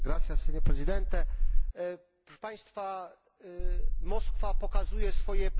Moskwa pokazuje swoje prawdziwe oblicze, ale my to oblicze znamy w Parlamencie Europejskim.